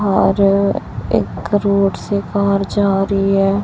और अ एक रोड से कार जारी है।